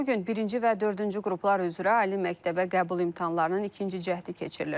Bu gün birinci və dördüncü qruplar üzrə ali məktəbə qəbul imtahanlarının ikinci cəhdi keçirilir.